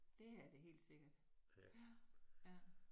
Det er det helt sikkert ja